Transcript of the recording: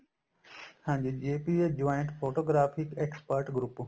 ਹਾਂਜੀ JPEG joint photographic expert group